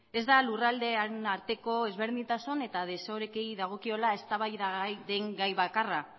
ez da lurraldeen arteko ezberdintasun eta desorekei dagokiola eztabaidagai den gai bakarra